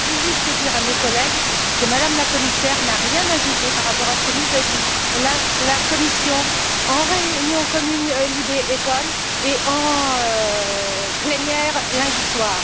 Je voudrais juste dire à nos collègues que Mme la Commissaire n'a rien ajouté par rapport à ce que nous a dit la Commission en réunion commune LIBE ECON et en plénière lundi soir.